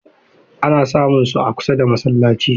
Ana samunsu a kusa da masallaci.